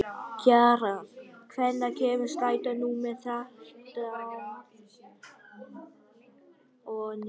Kjaran, hvenær kemur strætó númer þrjátíu og níu?